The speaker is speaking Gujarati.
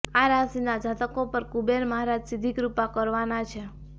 આ રાશિના જાતકો પર કુબેર મહારાજ સીધી કૃપા કરવાના છે